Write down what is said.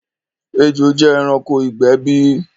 Ẹjò jẹ ẹranko igbẹ̀ bí?